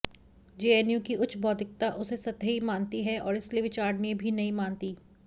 JNU की उच्च बौद्धिकता उसे सतही मानती है और इसलिए विचारणीय भी नहीं मानती